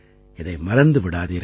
இதை மறந்து விடாதீர்கள்